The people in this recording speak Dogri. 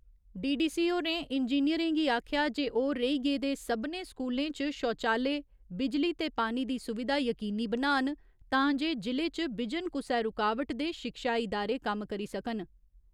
डी.डी.सी होरें इंजिनियरें गी आखेआ जे ओह् रेही गेदे सभनें स्कूलें च शौचालय, बिजली ते पानी दी सुविधा यकीनी बनान तां जे जि'ले च बिजन कुसै रूकावट दे शिक्षा ईदारे कम्म करी सकन।